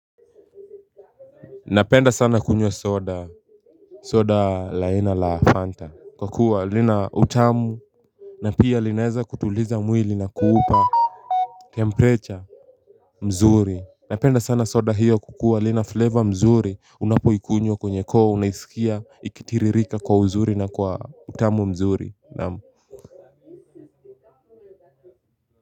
Napenda sana kunywa soda, soda la aina la Fanta kwa kuwa lina utamu na pia linaeza kutuliza mwili na kuupa temperature mzuri. Napenda sana soda hiyo kwa kuwa lina flavor mzuri unapoikunywa kwenye koo unaisikia ikitiririka kwa uzuri na kwa utamu mzuri.